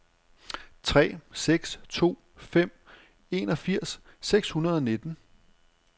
tre seks to fem enogfirs seks hundrede og nitten